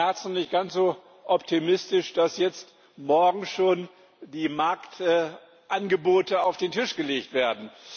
15. März nicht ganz so optimistisch, dass jetzt morgen schon die Marktangebote auf den Tisch gelegt werden.